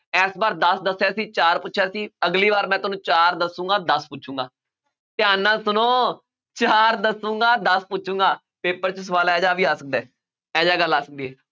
ਇਸ ਵਾਰ ਦਸ ਦੱਸਿਆ ਸੀ ਚਾਰ ਪੁੱਛਿਆ ਸੀ ਅਗਲੀ ਵਾਰ ਮੈਂ ਤੁਹਾਨੂੰ ਚਾਰ ਦੱਸਾਂਗਾ ਦੱਸ ਪੁੱਛਾਂਗਾ, ਧਿਆਨ ਨਾਲ ਸੁਣੋ, ਚਾਰ ਦੱਸਾਂਗਾ ਦਸ ਪੁੱਛਾਂਗਾ paper 'ਚ ਸਵਾਲ ਇਹ ਜਿਹਾ ਵੀ ਆ ਸਕਦਾ ਹੈ, ਇਹ ਜਿਹਾ ਗੱਲ ਆ ਸਕਦੀ ਹੈ,